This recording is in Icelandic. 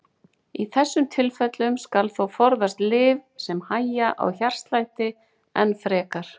Í þessum tilfellum skal þó forðast lyf sem hægja á hjartslætti enn frekar.